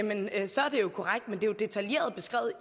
men efter